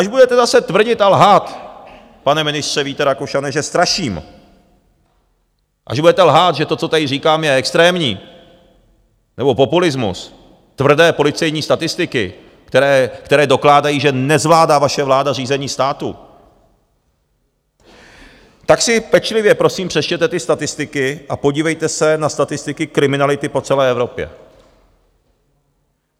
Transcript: Až budete zase tvrdit a lhát, pane ministře Víte Rakušane, že straším, až budete lhát, že to, co tady říkám, je extrémní, nebo populismus, tvrdé policejní statistiky, které dokládají, že nezvládá vaše vláda řízení státu, tak si pečlivě prosím přečtěte ty statistiky a podívejte se na statistiky kriminality po celé Evropě.